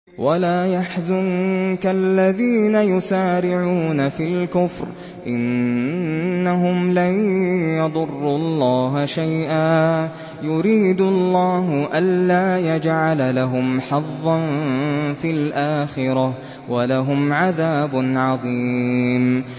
وَلَا يَحْزُنكَ الَّذِينَ يُسَارِعُونَ فِي الْكُفْرِ ۚ إِنَّهُمْ لَن يَضُرُّوا اللَّهَ شَيْئًا ۗ يُرِيدُ اللَّهُ أَلَّا يَجْعَلَ لَهُمْ حَظًّا فِي الْآخِرَةِ ۖ وَلَهُمْ عَذَابٌ عَظِيمٌ